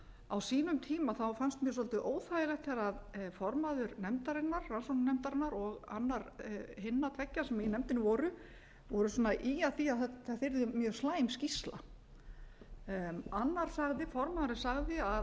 á sínum tíma fannst mér svolítið óþægilegt þegar formaður rannsóknarnefndarinnar og annar hinna tveggja sem í nefndinni voru að ýja að því að þetta yrði mjög slæm skýrsla formaðurinn sagði